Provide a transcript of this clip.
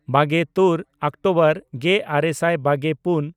ᱵᱟᱜᱮᱼᱛᱩᱨ October ᱜᱮᱼᱟᱨᱮ ᱥᱟᱭ ᱵᱟᱜᱮᱼᱯᱩᱱ